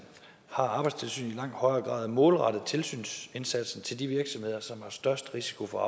har arbejdstilsynet i langt højere grad målrettet tilsynsindsatsen til de virksomheder som har størst risiko for